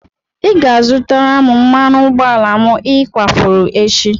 Ị ga-azụtara m mmanụ ụgbọala m ị kwafuru echi!